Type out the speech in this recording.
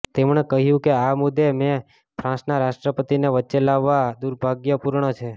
તેમણે કહ્યુ કે આ મુદ્દે મે ફ્રાંસના રાષ્ટ્રપતિને વચ્ચે લાવવા દુર્ભાગ્યપૂર્ણ છે